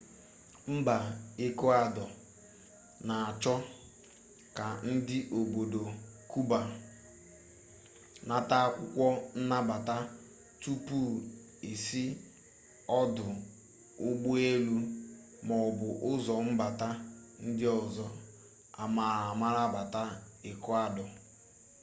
mba ekụadọ na-achọ ka ndi obodo kuba nata akwụkwọ nnabata tupu e si ọdụ ụgbọelu maọbu ụzọ mbata ndị ọzọ amaara amara bata ekụadọ